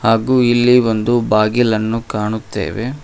ಹಾಗು ಇಲ್ಲಿ ಒಂದು ಬಾಗಿಲನ್ನು ಕಾಣುತ್ತೆವೆ.